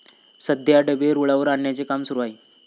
सध्या डबे रुळावर आणण्याचे काम सुरु आहे.